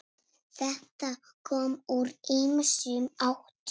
Þetta kom úr ýmsum áttum.